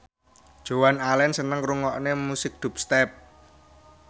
Joan Allen seneng ngrungokne musik dubstep